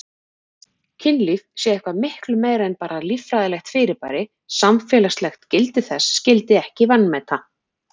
Kynlíf sé eitthvað miklu meira en bara líffræðilegt fyrirbæri, samfélagslegt gildi þess skyldi ekki vanmeta.